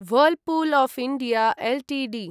Whirlpool of India Ltd